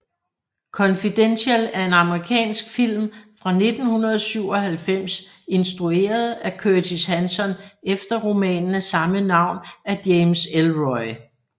Confidential er en amerikansk film fra 1997 instrueret af Curtis Hanson efter romanen af samme navn af James Ellroy